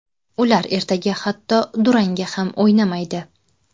Ular ertaga hatto durangga ham o‘ynamaydi.